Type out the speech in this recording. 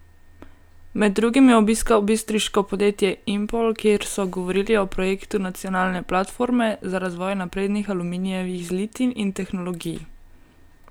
Med drugim je obiskal bistriško podjetje Impol, kjer so govorili o projektu nacionalne platforme za razvoj naprednih aluminijevih zlitin in tehnologij.